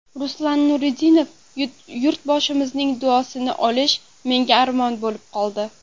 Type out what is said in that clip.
Ruslan Nuriddinov: Yurtboshimizning duosini olish menga armon bo‘lib qoldi.